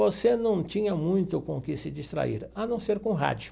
Você não tinha muito com o que se distrair, a não ser com rádio.